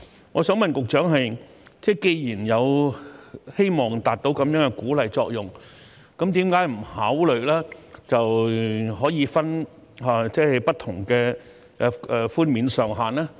我想問局長，既然希望達到這樣的鼓勵作用，為何不考慮設立不同的寬免上限呢？